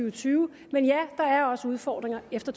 og tyve men ja der er også udfordringer efter